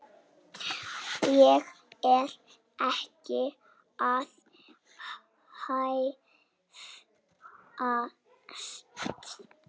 Ég er ekki að hæðast.